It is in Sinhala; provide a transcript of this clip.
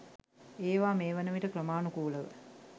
ඒවා මේ වන විට ක්‍රමාණුකූල ව